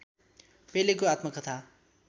पेलेको आत्मकथा